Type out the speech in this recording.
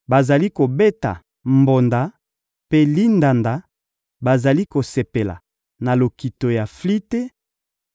Bazali kobeta mbonda mpe lindanda, bazali kosepela na lokito ya flite;